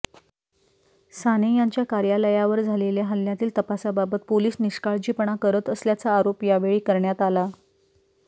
साने यांच्या कार्यालयावर झालेल्या हल्यातील तपासाबाबत पोलीस निष्काळजीपणा करत असल्याचा आरोप यावेळी करण्यात आला